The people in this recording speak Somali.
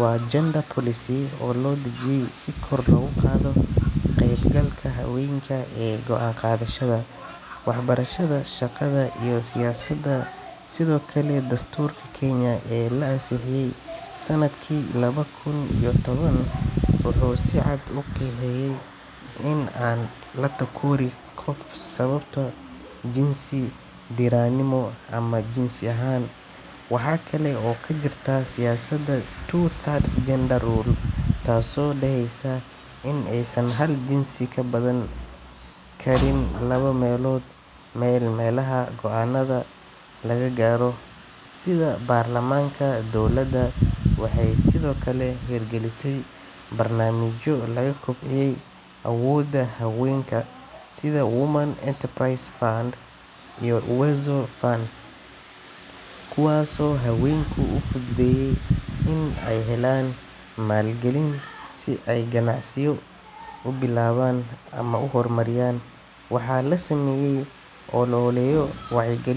waa Gender Policy oo loo dajiyay si kor loogu qaado ka-qaybgalka haweenka ee go’aan-qaadashada, waxbarashada, shaqada iyo siyaasadda. Sidoo kale, dastuurka Kenya ee la ansixiyay sannadkii laba kun iyo toban wuxuu si cad u qeexayaa in aan la takoorin qof sababo jinsi, diirranimo ama jinsi ahaan. Waxaa kale oo jirta siyaasadda Two-Thirds Gender Rule taasoo dhahaysa in aysan hal jinsi ka badnaan karin laba meelood meel meelaha go’aanada laga gaaro sida baarlamaanka. Dowladda waxay sidoo kale hirgalisay barnaamijyo lagu kobcinayo awooda haweenka sida Women Enterprise Fund iyo Uwezo Fund kuwaasoo haweenka u fududeeya in ay helaan maalgelin si ay ganacsiyo u bilaabaan ama u horumariyaan. Waxaa la sameeyay ol’oleyo wacyi galin.